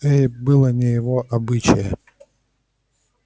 эй было не его обычае